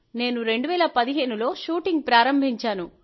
నేను 2015లో షూటింగ్ ప్రారంభించాను